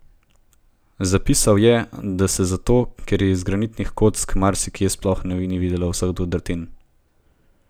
Zapisal je, da se zato, ker je iz granitnih kock, marsikje sploh ni videlo vseh udrtin.